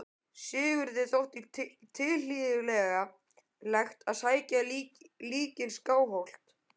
Sigurði þótti tilhlýðilegt að sækja líkin í Skálholt.